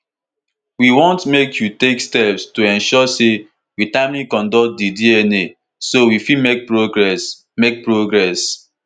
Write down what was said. "we want make you take steps to ensure say we timely conduct di dna so we fit make progress." make progress."